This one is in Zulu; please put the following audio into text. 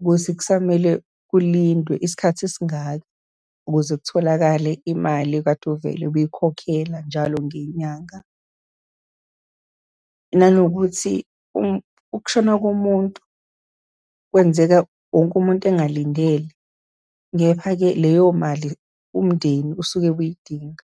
ukuthi kusamele kulindwe isikhathi esingaka, ukuze kutholakale imali okade uvele uyikhokhela njalo ngenyanga. Nanokuthi, ukushona komuntu kwenzeka wonke umuntu engalindele. Kepha-ke leyo mali umndeni usuke uyidinga.